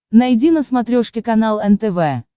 найди на смотрешке канал нтв